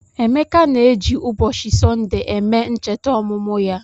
Emeka na-eji ụbọchị Sọnde eme ncheta ọmụmụ ya.